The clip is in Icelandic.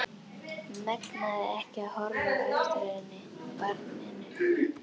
Megnaði ekki að horfa á eftir henni, barninu.